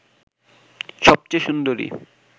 সবচেয়ে সুন্দরী